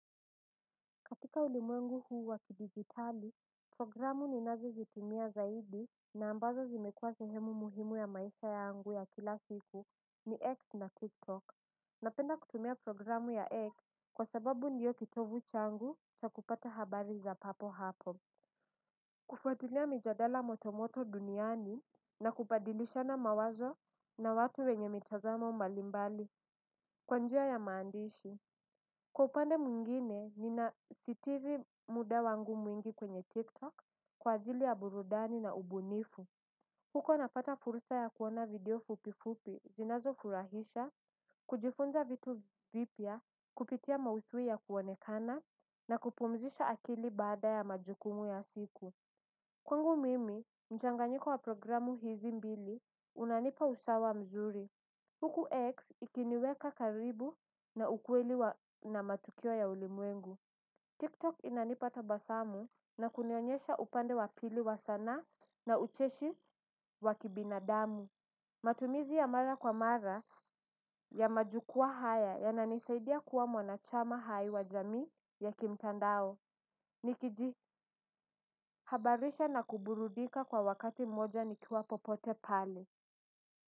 Katika ulimwengu huu wa kidijitali, programu ninazo zitumia zaidi na ambazo zimekuwa sehemu muhimu ya maisha yangu ya kila siku ni X na Tiktok. Napenda kutumia programu ya X kwa sababu ndio kitovu changu cha kupata habari za papo hapo. Kufuatilia mijadala motomoto duniani na kubadilishana mawazo na watu wenye mitazamo mbalimbali, kwa njia ya maandishi. Kwa upande mwingine, nina sitiri mda wangu mwingi kwenye TikTok kwa ajili ya burudani na ubunifu. Huko napata fursa ya kuona video fupi fupi, zinazo furahisha, kujifunza vitu vipya, kupitia maudhui ya kuonekana na kupumzisha akili baada ya majukumu ya siku. Kwangu mimi, mchanganyiko wa programu hizi mbili, unanipa usawa mzuri. Huku X ikiniweka karibu na ukweli wa na matukio ya ulimwengu. TikTok inanipa tabasamu na kunionyesha upande wa pili wa sanaa na ucheshi wa kibinadamu. Matumizi ya mara kwa mara ya majukwaa haya yananisaidia kuwa mwanachama hai wa jamii ya kimtandao. Nikiji habarisha na kuburudika kwa wakati mmoja nikiwa popote pale.